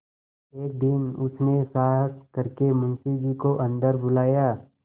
एक दिन उसने साहस करके मुंशी जी को अन्दर बुलाया